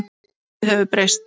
Lífið hefur breyst.